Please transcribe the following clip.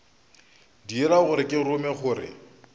dira gore ke rume gore